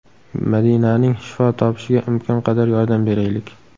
Madinaning shifo topishiga imkon qadar yordam beraylik!